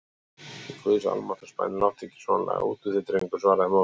Í guðs almáttugs bænum láttu ekki svona lagað út úr þér drengur, svaraði móðirin.